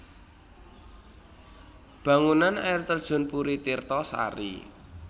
Bangunan Air Terjun Puri Tirto Sari